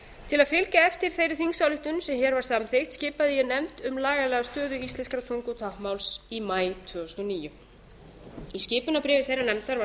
til að fylgja eftir þeirri þingsályktun sem hér var samþykkt skipaði ég nefnd um lagalega stöðu íslenskrar tungu og táknmáls í maí tvö þúsund og níu í skipunarbréfi þeirrar nefndar var